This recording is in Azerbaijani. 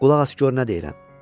Qulaq as gör nə deyirəm.